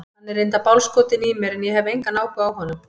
Hann er reyndar bálskotinn í mér en ég hef engan áhuga á honum.